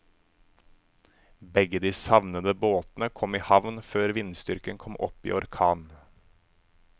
Begge de savnede båtene kom i havn før vindstyrken kom opp i orkan.